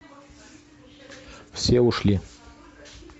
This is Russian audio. все ушли